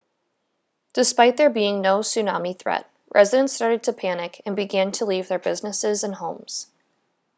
despite there being no tsunami threat residents started to panic and began to leave their businesses and homes